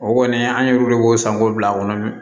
O kɔni an ye olu de b'o san k'o bila a kɔnɔ